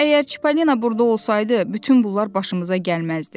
Əgər Çipalina burda olsaydı, bütün bunlar başımıza gəlməzdi.